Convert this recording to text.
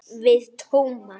Við Tómas.